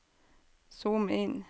zoom inn